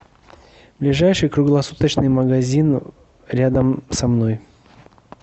ближайший круглосуточный магазин рядом со мной